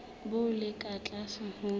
bo le ka tlase ho